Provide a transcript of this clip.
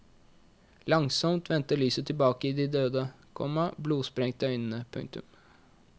Langsomt vendte lyset tilbake i de døde, komma blodsprengte øynene. punktum